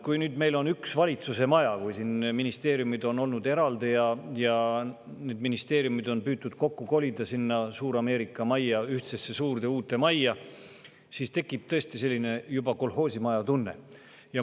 Nüüd, kui meil on üks valitsuse maja – ministeeriumid on enne olnud eraldi ja need ministeeriumid on püütud kokku kolida sinna Suur-Ameerika majja, ühtsesse suurde uude majja –, tekib tõesti juba kolhoosimaja tunne.